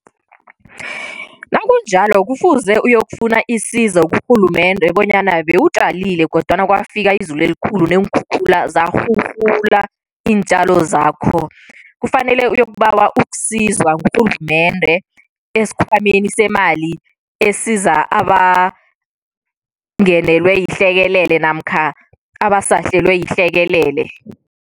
Nakunjalo kufuze uyokufuna isizo kurhulumende, bonyana bewutjalile kodwana kwafika izulu elikhulu neenkhukhula zarhurhula iintjalo zakho. Kufanele uyokubawa ukusizwa ngurhulumende esikhwameni semali esiza abangenelwe yihlekelele namkha, abasahlelwe yihlekelele.